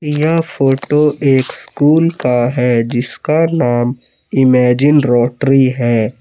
यह फोटो एक स्कूल का है। जिसका नाम इमेजिन रॉटरी है।